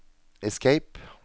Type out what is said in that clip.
escape